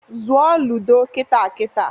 Zụọ ludo kita kita!